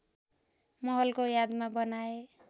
महलको यादमा बनाए